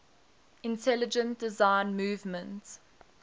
intelligent design movement